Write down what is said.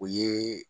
O ye